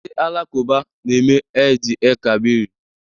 Ndị Alakụba na-eme Eid-el-kabri